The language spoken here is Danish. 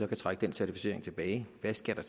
kan trække den certificering tilbage hvad skal der